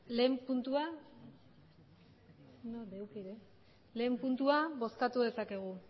beno ba lehen puntua bozkatu dezakegu